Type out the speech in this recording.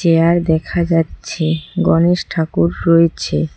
দেখা যাচ্ছে গণেশ ঠাকুর রয়েছে।